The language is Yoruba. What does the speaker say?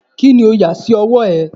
Kini o yà sí ọwọ́ ẹ?